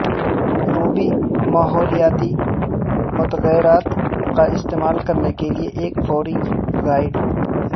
روبی ماحولیاتی متغیرات کا استعمال کرنے کے لئے ایک فوری گائیڈ